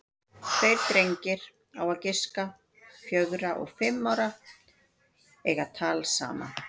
Tveir drengir, á að giska fjögra og fimm ára, eiga tal saman.